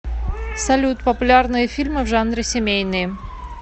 салют популярные фильмы в жанре семейные